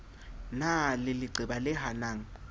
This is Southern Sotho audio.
na le leqeba le hanang